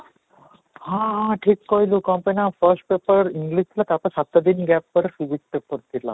ହଁ ହଁ ଠିକ କହିଲୁ କ'ଣ ପାଇଁ ନା ଆମର first paper English ଥିଲା ତା'ପରେ ସାତ ଦିନ ପରେ physics paper ଥିଲା